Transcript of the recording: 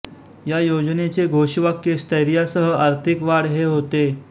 या योजनेचे घोषवाक्य स्थैर्यासह आर्थिक वाढ हे होते